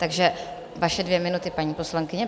Takže vaše dvě minuty, paní poslankyně.